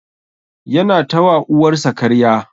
Yana ta wa uwar sa karya.